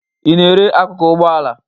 Ị na-ere akụkụ ụgbọala?